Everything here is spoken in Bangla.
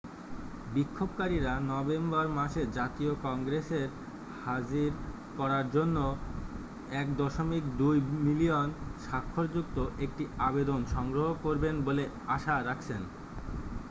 বিক্ষোভকারীরা নভেম্বর মাসে জাতীয় কংগ্রেসের হাজির করার জন্য 1.2 মিলিয়ন স্বাক্ষরযুক্ত একটি আবেদন সংগ্রহ করবেন বলে আশা রাখছেন